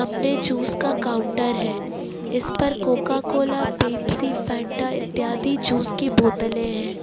सामने जूस का काउंटर है इस पर कोकाकोला पेप्सी फेंटा इत्यादि जूस की बोतलें है।